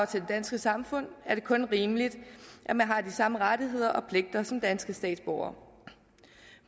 til det danske samfund er det kun rimeligt at man har de samme rettigheder og pligter som danske statsborgere